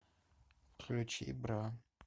включи бра